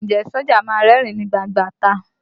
Ǹjẹ́ sójà a máa rẹ́rìn ín ní gbangba ìta?